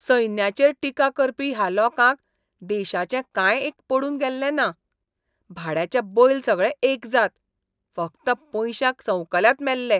सैन्याचेर टिका करपी ह्या लोकांक देशाचें कांय एक पडून गेल्लें ना. भाड्याचे बैल सगळे एकजात. फकत पयशांक संवकल्यात मेल्ले.